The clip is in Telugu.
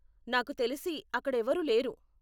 నాకు తెలిసి, అక్కడ ఎవరు లేరు.